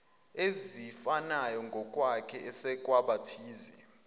ezifanayongokwakhe esekwa abathize